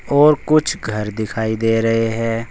और कुछ घर दिखाई दे रहे हैं।